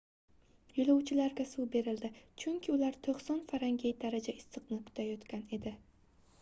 yo'lovchilarga suv berildi chunki ular 90 f daraja issiqda kutayotgan edi